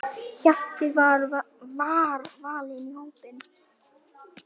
Hjalti var valinn í hópinn.